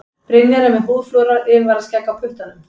Brynjar er með húðflúrað yfirvaraskegg á puttanum.